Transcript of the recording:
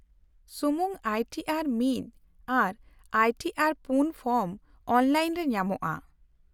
-ᱥᱩᱢᱩᱝ I T R one R I T ᱟᱨᱼ᱔ form online ᱨᱮ ᱧᱟᱢᱚᱜᱼᱟ ᱾